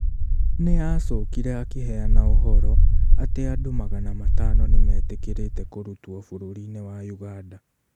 Nĩ acokire akĩheana ũhoro atĩ andũ magana matano nĩmetĩkĩrĩte kũrutwo bũrũri-inĩ wa Uganda.